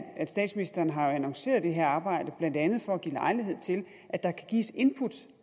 at statsministeren har annonceret det her arbejde blandt andet for at give lejlighed til at der kan gives input